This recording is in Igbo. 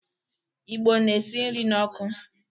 Igbo na esi nri n'ọkụ.